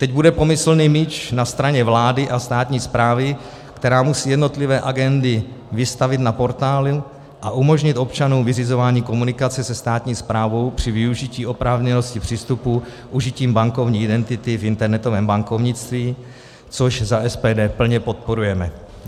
Teď bude pomyslný míč na straně vlády a státní správy, která musí jednotlivé agendy vystavit na portálu a umožnit občanům vyřizování komunikace se státní správou při využití oprávněnosti přístupu užitím bankovní identity v internetovém bankovnictví, což za SPD plně podporujeme.